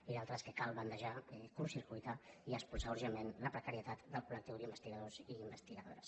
i l’altre és que cal bandejar curtcircuitar i expulsar urgentment la precarietat del coldors i investigadores